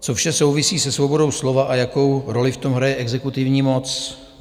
Co vše souvisí se svobodou slova a jakou roli v tom hraje exekutivní moc?